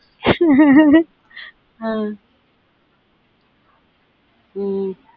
அஹ் உம்